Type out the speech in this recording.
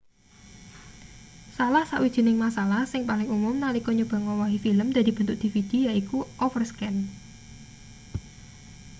salah sawijining masalah sing paling umum nalika nyoba ngowahi film dadi bentuk dvd yaiku overscan